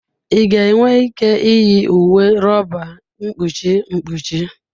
Ị ga-enwe ike iyi uwe rọba mkpuchi mkpuchi.